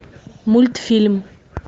мультфильм